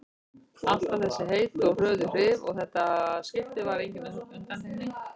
Alltaf þessi heitu og hröðu áhrif og þetta skipti var engin undantekning.